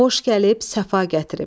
Xoş gəlib, səfa gətirib.